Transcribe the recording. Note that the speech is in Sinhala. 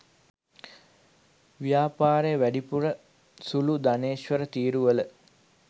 ව්‍යාපාරය වැඩිපුර සුළු ධනේශ්වර තීරුවල